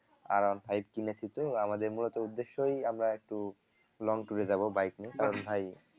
R one five কিনেছি তো আমাদের মূলত উদ্দেশ্যই আমরা একটু long tour এ যাবো bike নিয়ে যাবো কারণ ভাই